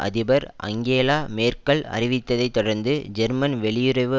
அதிபர் Angela Merkel அறிவித்ததை தொடர்ந்து ஜெர்மன் வெளியுறவு